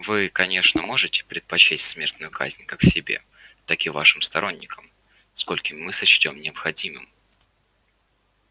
вы конечно можете предпочесть смертную казнь как себе так и вашим сторонникам скольким мы сочтём необходимым